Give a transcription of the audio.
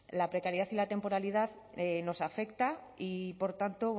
la precariedad en la temporalidad nos afecta y por tanto